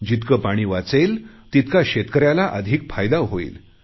जितके पाणी वाचेल तितका शेतकऱ्याला अधिक फायदा होईल